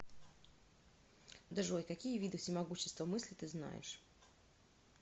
джой какие виды всемогущество мыслей ты знаешь